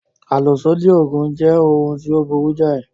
Àlòsódì Ògùn jẹ́ ohun tí ó burú jáì